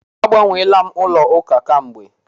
Agbanweela m ụka kamgbe.